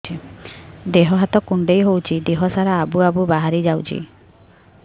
ଦିହ ହାତ କୁଣ୍ଡେଇ ହଉଛି ଦିହ ସାରା ଆବୁ ଆବୁ ବାହାରି ଯାଉଛି